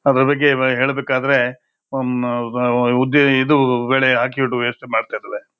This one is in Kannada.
ಅದರ ಬಗ್ಗೆ ಹೇಳಬೇಕಾದ್ರೆ ಉಂ ಉದ್ದೆ ಇದು ಒಳಗಡೆ ಹಾಕಿಬಿಟ್ಟು ವೇಸ್ಟ್ ಮಾಡ್ತಾ --